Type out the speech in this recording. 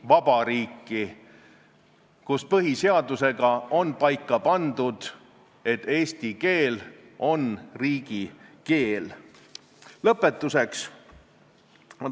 Kohal olid ka algataja esindaja Tarmo Kruusimäe, Haridus- ja Teadusministeeriumi õigusosakonna jurist Liina Hirv ja keeleosakonna nõunik Andero Adamson ning Justiitsministeeriumi avaliku õiguse talituse nõunik Andrus Jürgens ja Keeleinspektsiooni peadirektor Ilmar Tomusk.